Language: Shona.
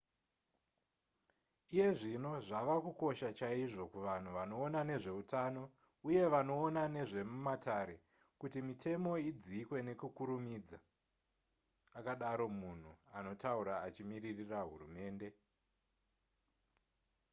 iye zvino zvava kukosha chaizvo kuvanhu vanoona nezveutano uye vanoona nezvemumatare kuti mitemo idzikwe nekukurumidza akadaro munhu anotaura achimiririra hurumende